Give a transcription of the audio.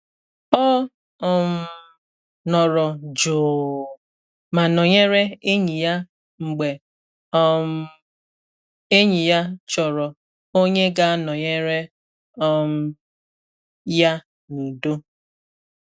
O um nọrọ jụụ ma nọnyere enyi ya mgbe um enyi ya chọrọ onye ga anọnyere um ya n’udo